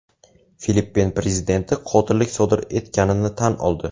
Filippin prezidenti qotillik sodir etganini tan oldi.